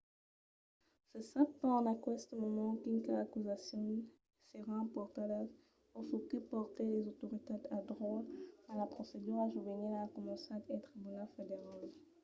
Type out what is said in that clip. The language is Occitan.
se sap pas en aqueste moment quinas acusacions seràn portadas o çò que portèt las autoritats al dròlle mas la procedura juvenila a començat al tribunal federal